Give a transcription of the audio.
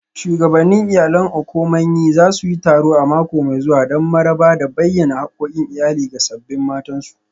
Shugabannin Iyalan Okomanyi za su yi taro a mako mai zuwa don maraba da bayyana hakkokin iyali ga sabbin matansu